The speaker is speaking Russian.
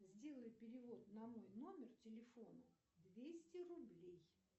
сделай перевод на мой номер телефона двести рублей